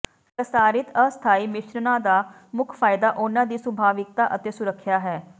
ਪ੍ਰਸਾਰਿਤ ਅਸਥਾਈ ਮਿਸ਼ਰਣਾਂ ਦਾ ਮੁੱਖ ਫਾਇਦਾ ਉਨ੍ਹਾਂ ਦੀ ਸੁਭਾਵਿਕਤਾ ਅਤੇ ਸੁਰੱਖਿਆ ਹੈ